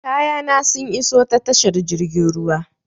Kayana sun iso ta tashar jirgin ruwan.